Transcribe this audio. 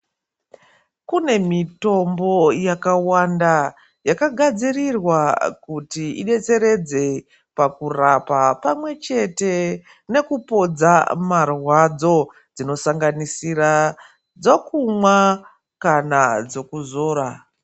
Kune mitombo yakawanda yakagadzirirwa kuti idetseredze pakurapa pamwe chete nekupodza marwadzo dzinosanganisira dzokumwa kana dzokuzora.